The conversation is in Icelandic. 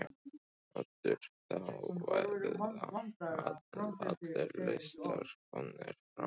Oddur: Þá verða allir listar komnir fram?